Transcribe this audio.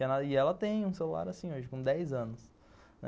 E ela e ela tem um celular assim hoje, com dez anos.